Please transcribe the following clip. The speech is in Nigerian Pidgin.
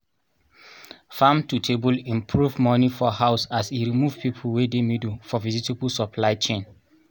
farm to table improve money for house as e remove people wey dey middle for vegetable supply chain